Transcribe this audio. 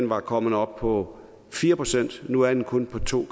var kommet op på fire procent nu er den kun på to